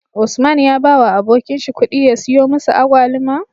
Usman ya bawa abokin shi kudi ya siyo musu agwaluma